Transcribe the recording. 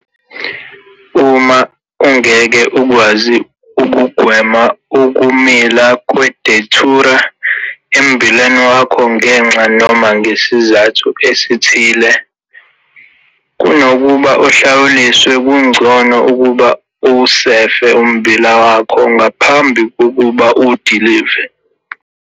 Uma ungeke ukwazi ukugwema ukumila kwe-Datura emmbileni wakho ngenxa noma ngezizathu ezithile, kunokuba uhlawuliswe kungcono ukuba uwusefe ummbila wakho ngaphambi kokuba uwudilive.